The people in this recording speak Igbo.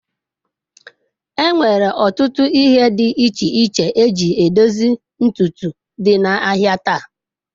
Enwere ọtụtụ ihe dị iche iche eji edozi ntutu dị n'ahịa taa.